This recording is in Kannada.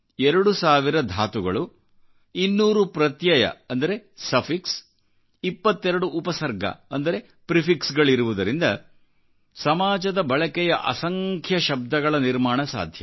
2 ಸಾವಿರ ಧಾತುಗಳು 200ಪ್ರತ್ಯಯ ಅಂದರೆ ಸಫಿಕ್ಸ್ 22 ಉಪಸರ್ಗ ಅಂದರೆ ಪ್ರಿಫಿಕ್ಸ್ ಗಳಿರುವುದರಿಂದ ಸಮಾಜದ ಬಳಕೆಯ ಅಸಂಖ್ಯ ಶಬ್ದಗಳ ನಿರ್ಮಾಣ ಸಾಧ್ಯ